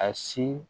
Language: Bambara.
A si